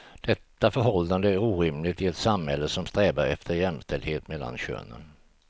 Detta förhållande är orimligt i ett samhälle som strävar efter jämställdhet mellan könen.